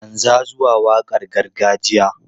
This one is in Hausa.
Canza zuwa waƙar gargajiya!